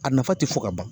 A nafa tɛ fɔ ka ban